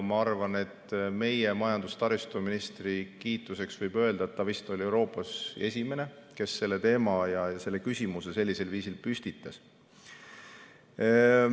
Meie majandus‑ ja taristuministri kiituseks võib öelda, et ta oli vist Euroopas esimene, kes selle teema ja küsimuse sellisel viisil püstitas.